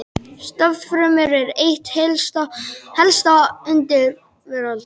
Stofnfrumur eru eitt helsta undur veraldar.